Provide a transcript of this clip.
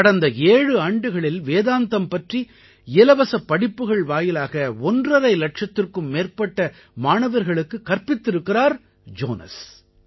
கடந்த 7 ஆண்டுகளில் வேதாந்தம் பற்றி இலவசப் படிப்புகள் வாயிலாக ஒன்றரை இலட்சத்திற்கும் மேற்பட்ட மாணவர்களுக்குக் கற்பித்திருக்கிறார் ஜோனஸ்